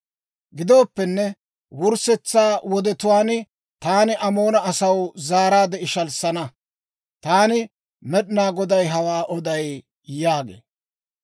«Gidooppenne, wurssetsa wodetuwaan taani Amoona asaw zaaraadde ishalissana. Taani Med'inaa Goday hawaa oday» yaagee.